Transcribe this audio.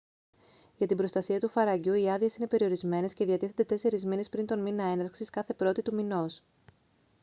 για την προστασία του φαραγγιού οι άδειες είναι περιορισμένες και διατίθενται 4 μήνες πριν τον μήνα έναρξης κάθε πρώτη του μηνός